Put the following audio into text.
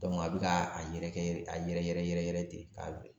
Dɔnku a be ka a yɛrɛkɛ a yɛrɛ yɛrɛ yɛrɛ yɛrɛ ten ka ben